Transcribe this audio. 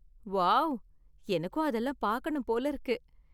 Wow! எனக்கும் அதெல்லாம் பாக்கணும் போல இருக்கு.